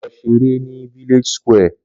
Lọ ṣeré ní village square